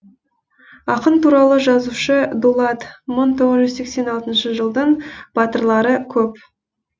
ақын туралы жазушы дулат мың тоғыз сексен алтыншы жылдың батырлары көп